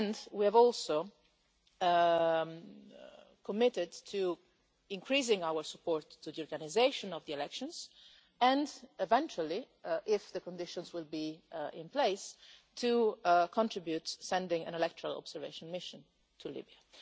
We have also committed to increasing our support for the organisation of the elections and, eventually, if the conditions are in place, we will contribute by sending an electoral observation mission to